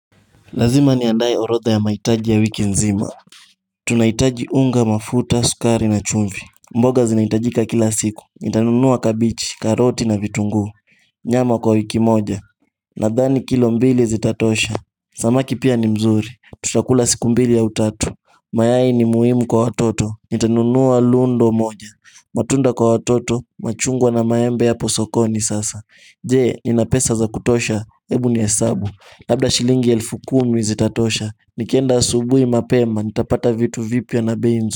Lazima niandae orodha ya mahitaji ya wiki nzima. Tunahitaji unga, mafuta, sukari na chumvi. Mboga zinahitajika kila siku, nitanunua kabegi, karoti na vitunguu. Nyama kwa wiki moja. Nadhani kilo mbili zi tatosha. Samaki pia ni mzuri. Tutakula siku mbili ya utatu. Mayai ni muhimu kwa watoto, nitanunua lundo moja. Matunda kwa watoto, machungwa na maembe yaposokoni sasa. Je, nina pesa za kutosha? Ebu ni hesabu labda shilingi elfu kumi zitatosha, nikienda asubui mapema nitapata vitu vipi ya na bei.